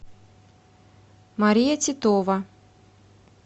мария титова